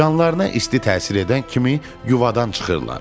Canlarına isti təsir edən kimi yuvadan çıxırlar.